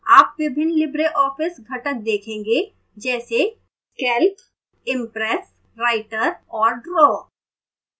आप विभिन्न libreoffice घटक देखेंगे जैसे calc impress writer और draw